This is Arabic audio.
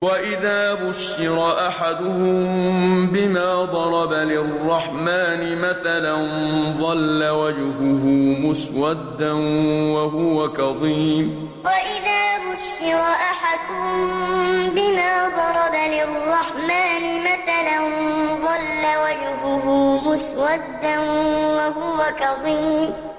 وَإِذَا بُشِّرَ أَحَدُهُم بِمَا ضَرَبَ لِلرَّحْمَٰنِ مَثَلًا ظَلَّ وَجْهُهُ مُسْوَدًّا وَهُوَ كَظِيمٌ وَإِذَا بُشِّرَ أَحَدُهُم بِمَا ضَرَبَ لِلرَّحْمَٰنِ مَثَلًا ظَلَّ وَجْهُهُ مُسْوَدًّا وَهُوَ كَظِيمٌ